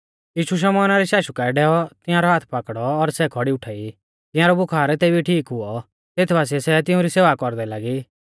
यीशु शमौना री शाशु काऐ डैऔ तियांरौ हाथ पाकड़ौ और सै खौड़ी उठाई तियांरौ बुखार तेबी ठीक हुऔ तेत बासिऐ सै तिउंरी सेवा कौरदै लागी